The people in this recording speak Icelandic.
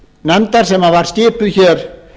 nefndar sem var skipuð hér